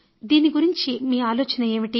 దీని గురించి మీ ఆలోచన ఏమిటి